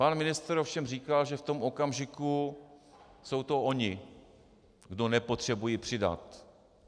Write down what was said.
Pan ministr ovšem říkal, že v tom okamžiku jsou to ony, kdo nepotřebují přidat.